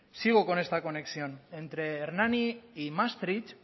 sigo con esta conexión entre hernani y maastricht